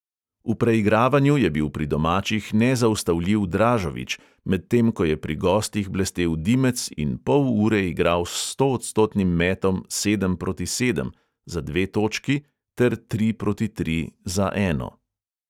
V preigravanju je bil pri domačih nezaustavljiv dražovič, medtem ko je pri gostih blestel dimec in pol ure igral s stoodstotnim metom sedem proti sedem za dve točki ter tri proti tri za eno.